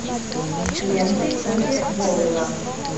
ленты уве болла